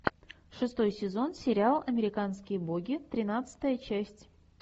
шестой сезон сериал американские боги тринадцатая часть